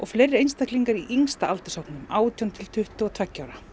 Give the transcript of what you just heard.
fleiri einstaklingar í yngsta aldurshópnum átján til tuttugu og tveggja ára